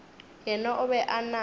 yena o be a na